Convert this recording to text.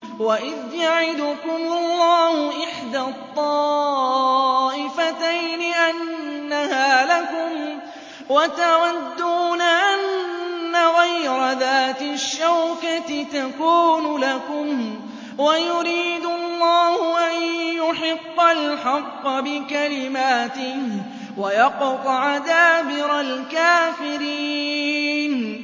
وَإِذْ يَعِدُكُمُ اللَّهُ إِحْدَى الطَّائِفَتَيْنِ أَنَّهَا لَكُمْ وَتَوَدُّونَ أَنَّ غَيْرَ ذَاتِ الشَّوْكَةِ تَكُونُ لَكُمْ وَيُرِيدُ اللَّهُ أَن يُحِقَّ الْحَقَّ بِكَلِمَاتِهِ وَيَقْطَعَ دَابِرَ الْكَافِرِينَ